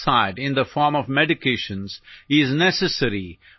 മാനസികാസ്വാസ്ഥ്യങ്ങളും ഈ രീതിയിൽ കൈകാര്യം ചെയ്യപ്പെടുന്നു